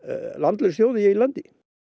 landlaus þjóð í eigin landi